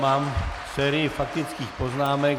Mám sérii faktických poznámek.